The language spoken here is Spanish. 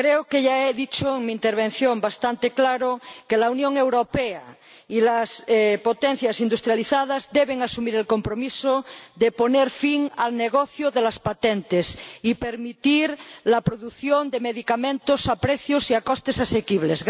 Creo que ya he dicho en mi intervención bastante claro que la Unión Europea y las potencias industrializadas deben asumir el compromiso de poner fin al negocio de las patentes y permitir la producción de medicamentos a precios y a costes asequibles.